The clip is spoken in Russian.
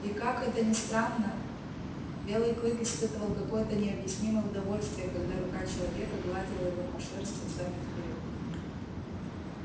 и как это ни странно белый клык испытывал какое-то необъяснимое удовольствие когда рука человека гладила его по шерсти взад и вперёд